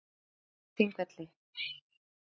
Bílvelta við Þingvelli